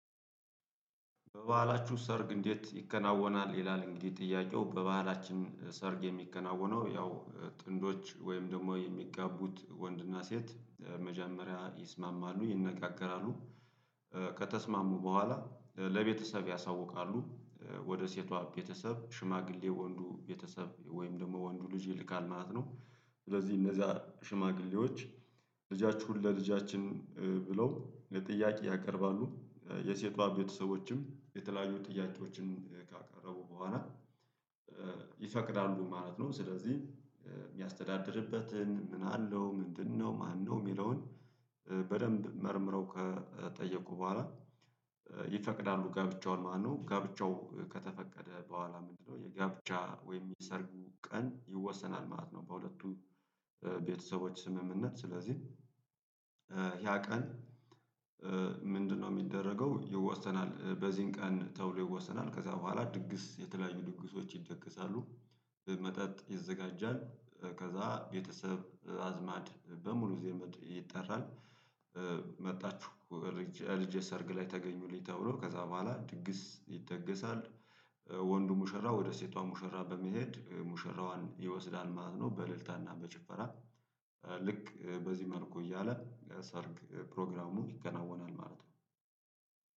በባሀላችሁ ሰርግ እንዴት ይከናወናል ይላል? እንግዲህ ጥያቄው በባሀላችን ሰርግ የሚከናወነው ያው ጥንዶች ወይም ደግሞ የሚጋቡት ወንድና ሴት መጀመሪያ ይስማማሉ ይነጋገራሉ ከተስማሙ በኋላ ለቤተሰብ ያሳውቃሉ ወደ ሴቷ ቤተሰብ ሽማግሌ ወንዱ ቤተሰብ ወይም ደግሞ ወንዱ ልጅ ይልካል ማለት ነው። ስለዚህ እነዛ ሽማግሌዎች ልጃችሁን ለልጃችን ብለው ለጥያቄ ያቀርባሉ የሴቷ ቤተሰቦችም የተለያዩ ጥያቄዎችን ካቀረቡ በኋላ ይፈቅዳሉ ማለት ነው። ስለዚህ የሚያስተዳድርበትን ምን አለው ምንድነው ማነው የሚለውን በደንብ መርምረው ከጠየቁ በኋላ ይፈቅዳሉ ጋብቻውን ማነው ጋብቻው ከተፈቀደ በኋላ ምንድነው የጋብቻ ወይም የሰርጉ ቀን ይወሰናል ማለት ነው። በሁለቱ ቤተሰቦች ስምምነት ስለዚህ። ያ ቀን ምንድነው የሚደረገው ይወሰናል በዚህን ቀን ተብሎ ይወሰናል። ከዛ በኋላ ድግስ የተለያዩ ድግሶች ይደገሳሉ። መጠጥ ይዘጋጃል ከዛ ቤተሰብ አዝማድ በሙሉ ዘመድ ይጠራል። መጣችሁ እልጄ ሰርግ ላይ ተገኙልኝ ተብሎ ከዛ በኋላ ድግስ ይደገሳል። ወንዱ ሙሽራ ወደ ሴቷ ሙሽራ በመሄድ ሙሽራዋን ይወስዳል ማለት ነው። በእልልታና በጭፈራ ልክ በዚህ መልኩ እያለ ሰርግ ፕሮግራሙ ይከናወናል ማለት ነው።